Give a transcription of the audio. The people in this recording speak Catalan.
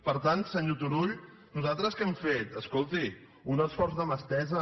per tant senyor turull nosaltres què hem fet escolti un esforç de mà estesa